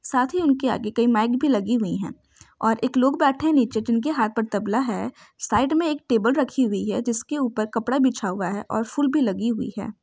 साथ ही उनके आगे कई माइक भी लगी हुई है और एक लोग बैठे है नीचे जिनके हाथ पर तबला है साइड में एक टेबल रखी हुई है जिस के ऊपर कपड़ा बिछा हुआ है और फूल भी लगी हुई है।